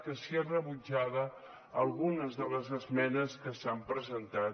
que si és rebutjada algunes de les esmenes que s’han presentat